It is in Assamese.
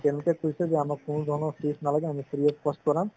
তেওঁলোকে কৈছে যে আমাক কোনো ধৰণৰ নালাগে আমি free of cost কৰাম